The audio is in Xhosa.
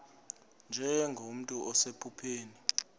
nje nomntu osephupheni